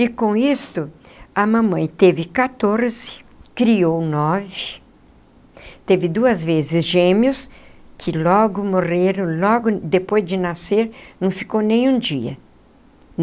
E com isto, a mamãe teve quatorze, criou nove, teve duas vezes gêmeos que logo morreram, logo depois de nascer, não ficou nem um dia.